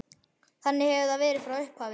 Þannig hefur það verið frá upphafi.